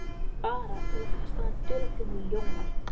Bara til að kasta á hann dularfullum ljóma.